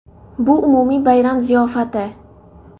Bu umumiy bayram ziyofati.